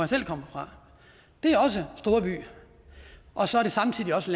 selv kommer fra det er også storby og så er det samtidig også